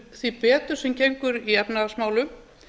því betur sem gengur í efnahagsmálum